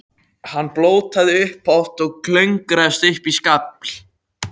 Hann blótaði upphátt og klöngraðist upp í skafl.